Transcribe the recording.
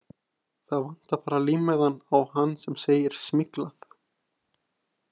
Það vantar bara límmiðann á hann sem segir SMYGLAÐ.